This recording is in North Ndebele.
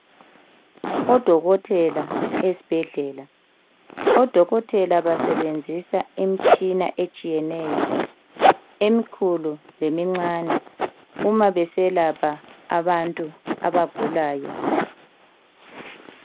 Odokotela esibhedlela. Odokotela basebenzisa imitshina etshiyeneyo emikhulu lemincane uma beselapha abantu abagulayo.